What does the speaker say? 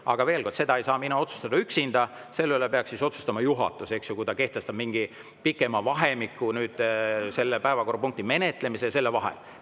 Aga seda ei saa otsustada mina üksinda, selle üle peaks otsustama juhatus, kas ta kehtestab mingi pikema vahemiku päevakorrapunkti menetlemise ja vahel.